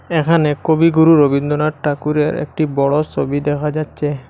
এখানে কবিগুরু রবীন্দ্রনাথ ঠাকুরের একটি বড় সবি দেখা যাচ্ছে।